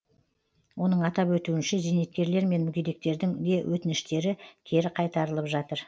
оның атап өтуінше зейнеткерлер мен мүгедектердің де өтініштері кері қайтарылып жатыр